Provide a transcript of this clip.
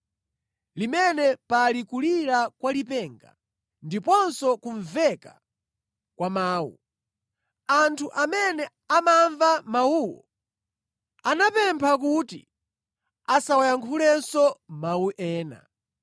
limene pali kulira kwa lipenga, ndiponso kumveka kwa mawu. Anthu amene amamva mawuwo anapempha kuti asawayankhulenso mawu ena.